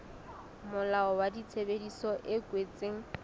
molao wa tshebedisano e kwetsweng